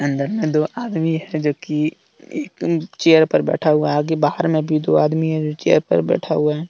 अंदर में दो आदमी हैं जो कि एक चेयर पर बैठा हुआ है। बाहर में भी दो आदमी हैं जो चेयर पर बैठा हुआ है ।